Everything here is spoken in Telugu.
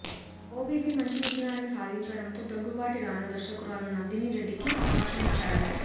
ఓ బేబీ మంచి విజయాన్ని సాధించడంతో దగ్గుబాటి రానా దర్శకురాలు నందిని రెడ్డికి అవకాశమిచ్చాడు